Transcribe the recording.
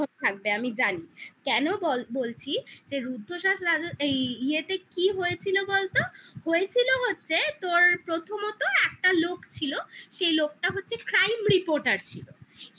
হয়ে থাকবে আমি জানি কেন বলছি যে রুদ্ধশ্বাস রাজস্থান এই ইয়েতে কি হয়েছিল বলতো? হয়েছিল হচ্ছে তোর প্রথমত একটা লোক ছিল সেই লোকটা হচ্ছে crime reporter ছিল